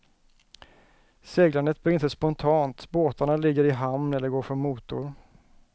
Seglandet blir inte spontant, båtarna ligger i hamn eller går för motor.